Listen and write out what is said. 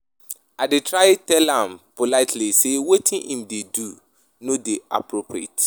I dey try tell am politely sey wetin him dey do no dey appropriate.